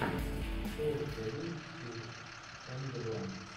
что у тебя есть из эмили блант